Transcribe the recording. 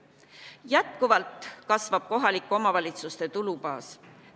Jätkuvalt kasvab kohalike omavalitsuste tulubaas.